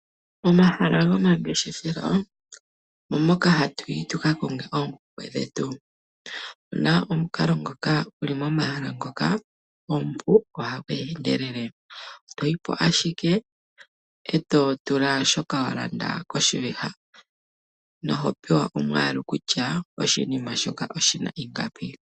Omahala gomangeshefelo omo moka hatuyi tuka konge oompumbwe dhetu. Nomukalo ngoka guli momahala ngoka omupu nohagu endelele, toyipo ashike eto totula shoka wahala koshiviha, nohopewa omwaalu kutya oshinima shoka oshina ingapi.